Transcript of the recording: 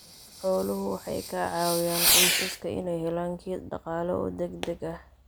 Xooluhu waxay ka caawiyaan qoysaska inay helaan kayd dhaqaale oo degdeg ah.